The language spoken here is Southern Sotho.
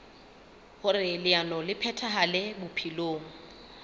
hoer leano le phethahale bophelong